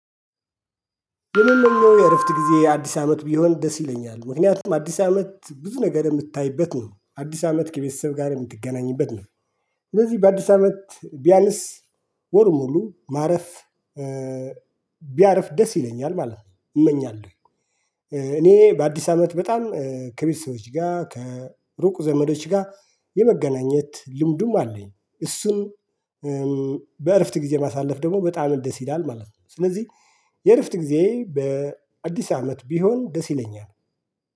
የምንለው የእረፍት ጊዜ አዲስ አመት ቢሆን ደስ ይለኛል ምክንያቱም አዲስ አመት ብዙ ነገር የምታይበት ነው አዲስ አመት ከቤተሰብ ጋር የምትገናኝበት ነው። እነዚህ በአዲስ አመት ቢያንስ ወር ሙሉ ማረፍ ቢያርፍ ደስ ይለኛል ማለት ነው። እመኛለሁ። እኔ በአዲስ አመት በጣም ከቤተሰቦች ጋር ከሩቅ ዘመዶች ጋር የመገናኘት ልምዱም አለኝ። እሱም በእረፍት ጊዜ ማሳለፍ ደግሞ በጣም ደስ ይላል ማለት ነው። ስለዚህ የእረፍት ጊዜ በአዲስ አመት ቢሆን ደስ ይለኛል።